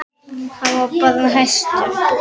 Hann var bara bestur.